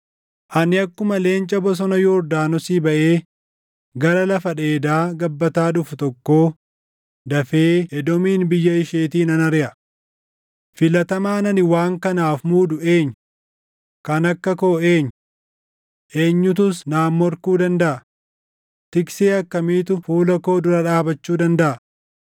“Ani akkuma leenca bosona Yordaanosii baʼee gara lafa dheedaa gabbataa dhufu tokkoo dafee Edoomin biyya isheetii nan ariʼa. Filatamaan ani waan kanaaf muudu eenyu? Kan akka koo eenyu? Eenyutus naan morkuu dandaʼa? Tiksee akkamiitu fuula koo dura dhaabachuu dandaʼa?”